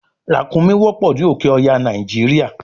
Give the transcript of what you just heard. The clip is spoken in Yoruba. ràkúnmí wọ́pọ̀ ní òké ọya nàìjíríà